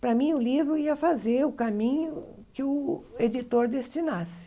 Para mim, o livro ia fazer o caminho que o editor destinasse.